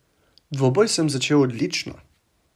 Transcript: Dvoboj sem začel odlično.